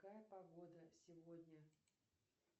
какая погода сегодня